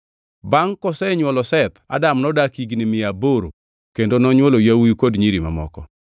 Bangʼ kosenywolo Seth, Adam nodak higni mia aboro kendo nonywolo yawuowi kod nyiri mamoko.